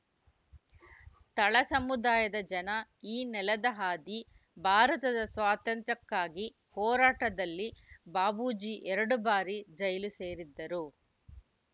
ತಳ ಸಮುದಾಯದ ಜನ ಈ ನೆಲದ ಹಾದಿ ಭಾರತದ ಸ್ವಾತಂತ್ರ್ಯಕ್ಕಾಗಿ ಹೋರಾಟದಲ್ಲಿ ಬಾಬೂಜಿ ಎರಡು ಬಾರಿ ಜೈಲು ಸೇರಿದ್ದರು